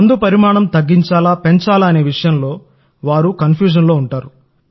మందు పరిమాణం తగ్గించాలా పెంచాలా అనే విషయంలో వారు సందిగ్ధంలో ఉంటారు